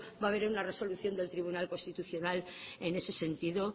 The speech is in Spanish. va a haber una resolución del tribunal constitucional en ese sentido